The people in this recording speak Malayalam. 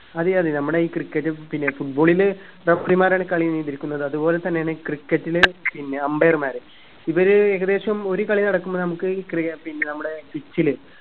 അതെ അതെ നമ്മടെ ഇ cricket പിന്നെ football ഇന് referee മാരാണ് കാളി നിയന്ത്രിക്കുന്നത് അത് പോലെ തന്നാണ് cricket ല് പിന്നെ umpire മാര് ഇവര് ഏകദേശം ഒരു കളി നടക്കുമ്പോഴേ നമുക്ക് അറിയ പിന്നെ നമ്മുടെ pitch ല്